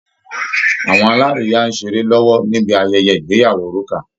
Awọn alárìíyá ń ṣeré lọ́wọ́ níbi ayẹyẹ ìgbeyàwó Rúkà